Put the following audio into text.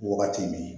Wagati min